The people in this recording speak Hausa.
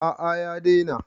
A'a ya daina.